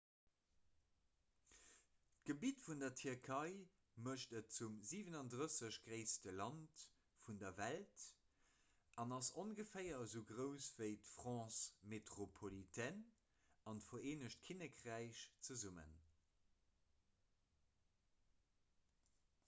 d'gebitt vun der tierkei mécht et zum 37 gréisste land vun der welt an ass ongeféier esou grouss ewéi d'france métropolitaine an d'vereenegt kinnekräich zesummen